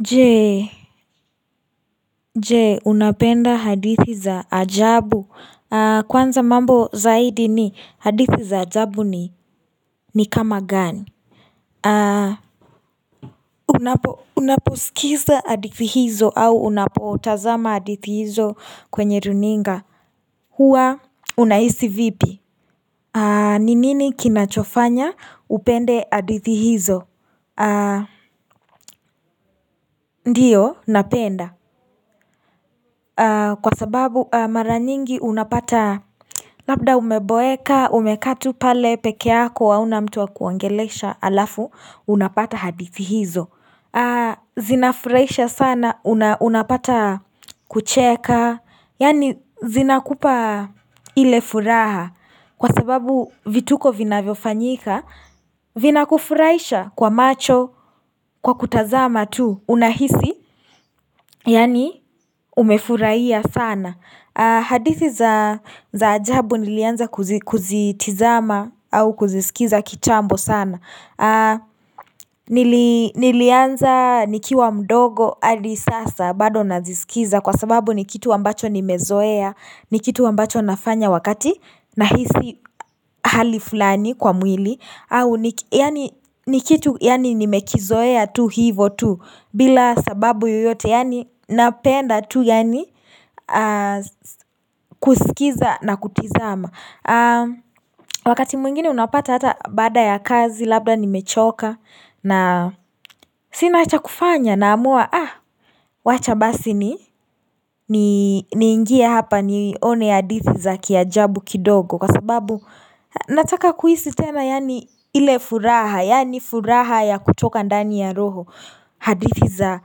Je Je unapenda hadithi za ajabu kwanza mambo zaidi ni hadithi za ajabu ni ni kama gani Unapo unaposikiza hadithi hizo au unapotazama hadithi hizo kwenye runinga huwa unahisi vipi Ninini kinachofanya upende hadithi hizo ndiyo napenda Kwa sababu mara nyingi unapata Labda umeboeka umekaa tu pale peke yako hauna mtu wa kuongelesha halafu unapata hadithi hizo zina furahisha sana unapata kucheka Yani zina kupa ile furaha kwa sababu vituko vina vyofanyika vina kufuraaisha kwa macho kwa kutazama tu unahisi Yani umefurahia sana hadithi za ajabu nilianza kuzitizama au kuzisikiza kitambo sana Nilianza nikiwa mdogo hadi sasa bado nazisikiza Kwa sababu ni kitu ambacho nimezoea ni kitu ambacho nafanya wakati na hisi hali fulani kwa mwili au ni kitu yani nimekizoea tu hivo tu bila sababu yoyote yani napenda tu yani kusikiza na kutizama Wakati mwingine unapata hata baada ya kazi Labda nimechoka na sina cha kufanya naamua Wacha basi niingie hapa nione hadithi za kiajabu kidogo Kwa sababu nataka kuhisi tena yani ile furaha Yani furaha ya kutoka ndani ya roho hadithi za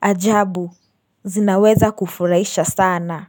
ajabu zinaweza kufurahisha sana na.